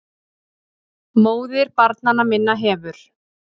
MÓÐIR BARNANNA MINNA HEFUR